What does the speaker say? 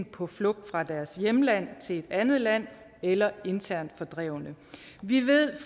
på flugt fra deres hjemland til et andet land eller er internt fordrevne vi ved